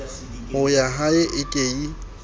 ho yahae e ke ye